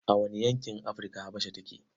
A wane yankin Afrika Habasha take?